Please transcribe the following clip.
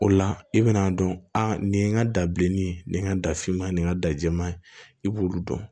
O la i bɛna'a dɔn a nin ye n ka dabileni ye nin ye n ka dafinma ye nin ka da jɛman ye i b'olu dɔn